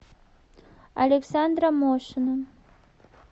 александра мошина